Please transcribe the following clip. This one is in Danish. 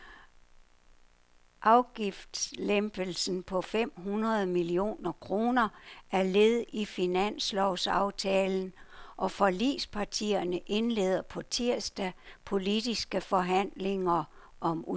Afgiftslempelsen på fem hundrede millioner kroner er led i finanslovsaftalen, og forligspartierne indleder på tirsdag politiske forhandlinger om udformningen.